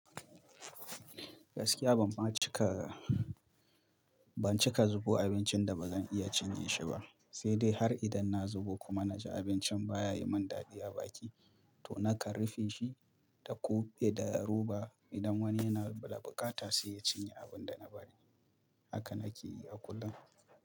Gaskiya ban ba cika, ban cika zubo abincin da ba zan iya cinye shi ba, sai dai har idan na zubo kuma na ji abincin ba ya yi min daɗi a baki, to na kan rufe shi da kuɓe da yaruba idan wani yana da bukata sai ya cinye abin da na bari. Haka na ke yi a kullum.